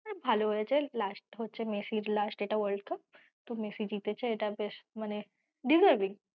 ভালো হয়েছে last হচ্ছে মেসির last এটা world cup তো মেসি জিতেছে